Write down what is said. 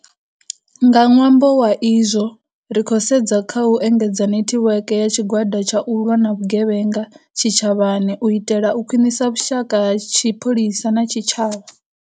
Nga ṅwambo wa izwo, ri khou sedza kha u engedza netiweke ya Tshigwada tsha U lwa na Vhugevhenga Tshitshavhani u itela u khwiṋisa vhushaka ha tshipholisa na tshitshavha.